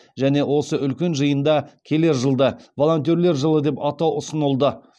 және осы үлкен жиында келер жылды волонтерлер жылы деп атау ұсынылды